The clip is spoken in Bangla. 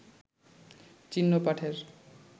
চিহ্ন-পাঠের